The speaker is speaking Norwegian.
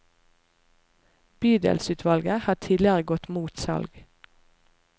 Bydelsutvalget har tidligere gått mot salg.